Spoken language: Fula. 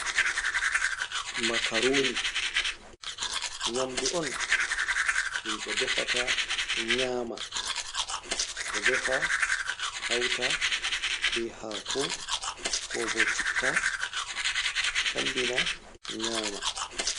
Makaruni nyaamdu on himɓe defata nyaama ɗo defa hauta be haako ko bo citta sambina nyama.